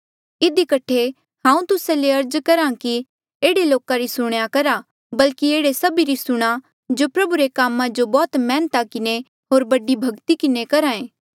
इधी कठे हांऊँ तुस्सा ले अर्ज करहा कि एह्ड़े लोका री सुणेया करहा बल्की एह्ड़े सभी री सुणा जो प्रभू रे कामा जो बौह्त मैहनता किन्हें होर बड़ी भक्ति किन्हें करहे